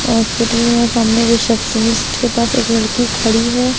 Hospital या सामने receptionist के पास एक लड़की खड़ी है।